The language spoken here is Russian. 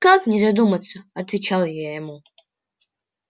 как не задуматься отвечала я ему